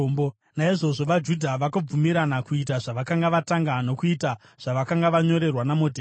Naizvozvo vaJudha vakabvumirana kuita zvavakanga vatanga, nokuita zvavakanga vanyorerwa naModhekai.